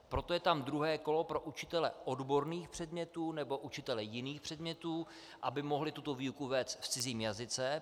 Proto je tam druhé kolo pro učitele odborných předmětů nebo učitele jiných předmětů, aby mohli tuto výuku vést v cizím jazyce.